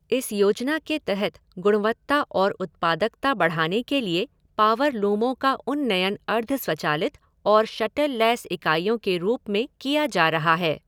इस योजना के तहत गुणवत्ता और उत्पादकता बढ़ाने के लिए पावरलूमो का उन्नयन अर्धस्वचालित और शटललैस इकाईयों के रूप में किया जा रहा है।